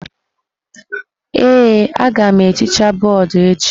Ee, agam ehicha bọọdụ echi.